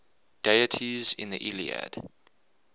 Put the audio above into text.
deities in the iliad